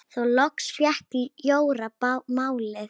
Þá loks fékk Jóra málið.